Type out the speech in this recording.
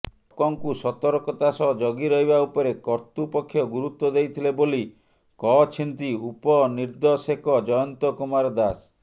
ଟକ ଙ୍କୁ ସତର୍କତା ସହ ଜଗିରହିବା ଉପରେ କତୃପକ୍ଷ ଗୁରୁତ୍ବ ଦେଇଥିଲେ ବୋଲି କହଛିନ୍ତି ଉପନିର୍ଦଶେକ ଜୟନ୍ତ କୁମାର ଦାସ